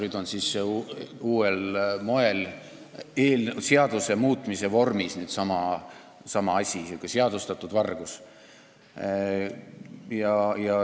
Nüüd siis proovitakse sama asja uuel moel, seaduse muutmise vormis – selline seadustatud vargus.